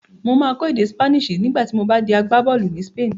Mà á kọ́ èdè Spanish nígbà tí mo bá di agbábọ́ọ̀lù ní Spain